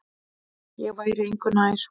Ég væri engu nær.